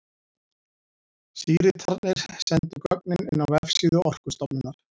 Síritarnir sendu gögnin inn á vefsíðu Orkustofnunar.